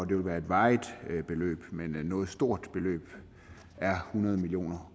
det ville være et varigt beløb men noget stort beløb er hundrede million